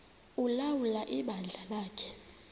ulawula ibandla lakhe